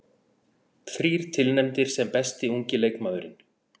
Þrír tilnefndir sem besti ungi leikmaðurinn